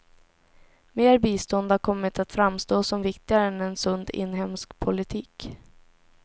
Mer bistånd har kommit att framstå som viktigare än en sund inhemsk politik.